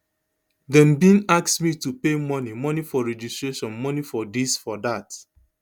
dem bin ask me to pay money money for registration money for dis for dat